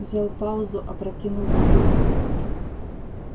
взял паузу опрокинул бутылку